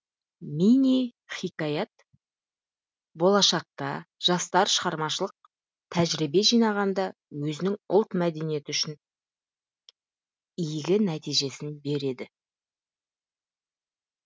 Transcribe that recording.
мини хикаят болашақта жастар шығармашылық тәжірибе жинағанда өзінің ұлт мәдениеті үшін игі нәтижесін береді